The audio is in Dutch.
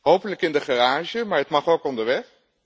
Hopelijk in de garage, maar het mag ook onderweg.